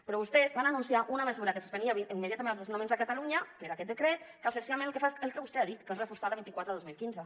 però vostès van anunciar una mesura que suspenia immediatament els des nonaments a catalunya que era aquest decret que essencialment el que fa és el que vostè ha dit que és reforçar la vint quatre dos mil quinze